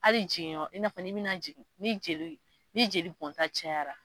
Hali jigin yɔrɔ i n'a fɔ n'i bina jigin, ni jeli ni jeli bɔnta cayara